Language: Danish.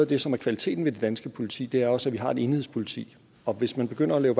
det som er kvaliteten ved det danske politi er også at vi har et enhedspoliti og hvis man begynder at lave